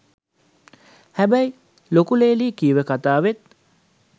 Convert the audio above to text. හැබැයි ලොකු ලේලි කිව්ව කතාවෙත්